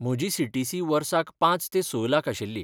म्हजी सीटीसी वर्साक पांच ते स लाख आशिल्ली.